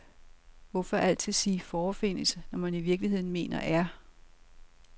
Hvorfor altid sige forefindes, når man i virkeligheden mener er?